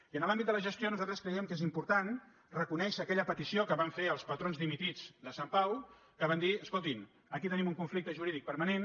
i en l’àmbit de la gestió nosaltres creiem que és important reconèi·xer aquella petició que van fer els patrons dimitits de sant pau que van dir escoltin aquí tenim un con·flicte jurídic permanent